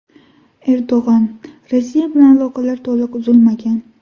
Erdo‘g‘on: Rossiya bilan aloqalar to‘liq uzilmagan.